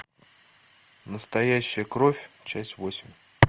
настоящая кровь часть восемь